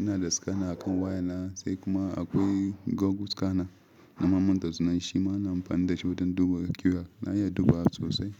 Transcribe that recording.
Ina da scanner a kan waya na sai kuma akwai Google scanner nama manta sunan shj. Shi ma ana amfani da shi wajen duba QR. Na iya dubawa sosai.